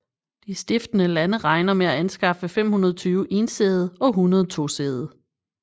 De stiftende lande regner med at anskaffe 520 ensædede og 100 tosædede